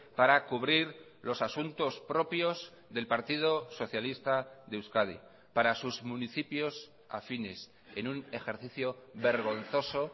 para cubrir los asuntos propios del partido socialista de euskadi para sus municipios afines en un ejercicio vergonzoso